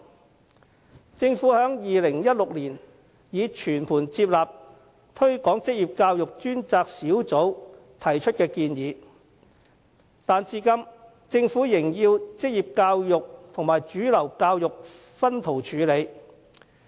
雖然政府已於2016年全盤接納推廣職業教育專責小組提出的建議，但政府至今仍把職業教育和主流教育分開處理。